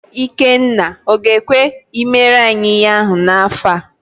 Ikenna ọ ga-ekwe i mere anyị ihe ahụ n'afọ a?